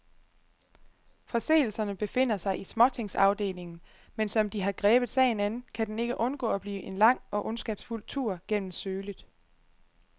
Forseelserne befinder sig i småtingsafdelingen, men som de har grebet sagen an, kan den ikke undgå at blive en lang og ondskabsfuld tur gennem sølet.